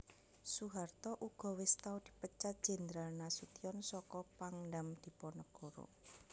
Soeharto uga wis tau dipecat Jenderal Nasution saka Pangdam Diponegoro